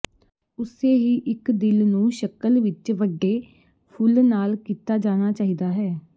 ਉਸੇ ਹੀ ਇੱਕ ਦਿਲ ਨੂੰ ਸ਼ਕਲ ਵਿੱਚ ਵੱਡੇ ਫੁੱਲ ਨਾਲ ਕੀਤਾ ਜਾਣਾ ਚਾਹੀਦਾ ਹੈ